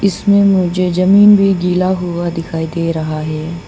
इसमें मुझे जमीन भी गिला हुआ दिखाई दे रहा है।